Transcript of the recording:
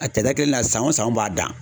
A kɛlɛ na san wo san u b'a dan